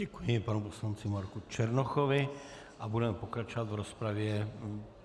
Děkuji panu poslanci Marku Černochovi a budeme pokračovat v rozpravě.